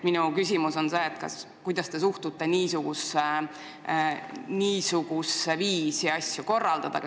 Minu esimene küsimus: kuidas te suhtute niisugusesse viisi asju korraldada?